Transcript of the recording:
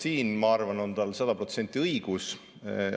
Siin, ma arvan, on tal sada protsenti õigus.